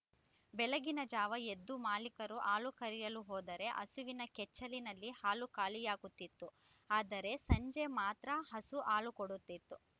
ಬೆಳಗಿನ ಜಾವ ಎದ್ದು ಮಾಲೀಕರು ಹಾಲು ಕರೆಯಲು ಹೋದರೆ ಹಸುವಿನ ಕೆಚ್ಚಲಿನಲ್ಲಿ ಹಾಲು ಖಾಲಿಯಾಗುತಿತ್ತು ಆದರೆ ಸಂಜೆ ಮಾತ್ರ ಹಸು ಹಾಲು ಕೊಡುತಿತ್ತು